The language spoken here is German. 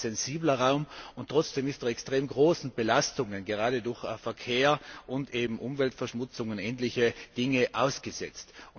Er ist ein sehr sensibler Raum, und trotzdem ist er extrem großen Belastungen gerade durch Verkehr und eben Umweltverschmutzung und ähnliche Dinge ausgesetzt.